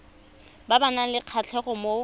ba nang le kgatlhego mo